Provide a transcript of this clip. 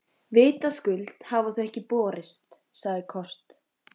Vitaskuld hafa þau ekki borist, sagði Kort.